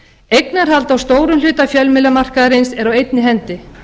eignarhald á stórum hluta fjölmiðlamarkaðarins er á einni hendi